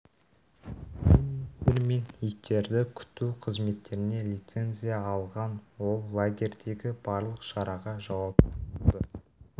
тренингтер мен иттерді күту қызметтеріне лицензия алған ол лагерьдегі барлық шараға жауапты болды